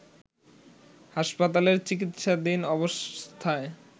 হাসপাতালের চিকিৎসাধীন অবস্থায়